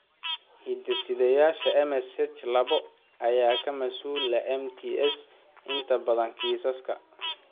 Hidde-sidayaasha MSH labo ayaa ka mas'uul ah MTS inta badan kiisaska.